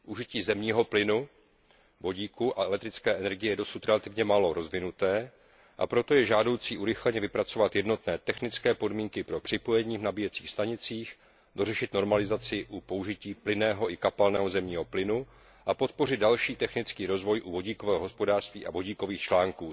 Užití zemního plynu, vodíku a elektrické energie je dosud relativně málo rozvinuté, a proto je žádoucí urychleně vypracovat jednotné technické podmínky pro připojení v nabíjecích stanicích, dořešit normalizaci u použití plynného i kapalného zemního plynu a podpořit další technický rozvoj u vodíkového hospodářství a vodíkových článků.